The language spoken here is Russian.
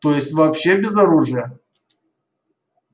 то есть вообще без оружия